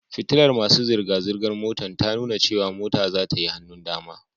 Fitilar masu zirga-zirgar motar ta nuna cewa mota zata yi hannun dama